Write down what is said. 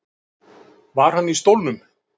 Var hann í stólnum?